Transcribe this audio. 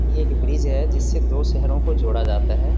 ये एक ब्रिज है जिस्से दो शेहरों को जोड़ा जाता है।